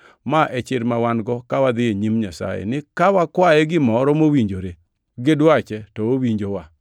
Ma e chir ma wan-go ka wadhi e nyim Nyasaye ni ka wakwaye gimoro mowinjore gi dwache to owinjowa.